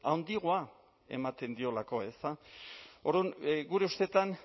handiagoa ematen diolako ezta orduan gure ustetan